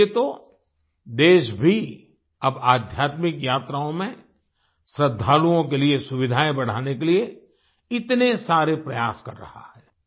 इसीलिये तो देश भी अब आध्यात्मिक यात्राओं में श्रद्धालुओं के लिए सुविधाएं बढ़ाने के लिए इतने सारे प्रयास कर रहा है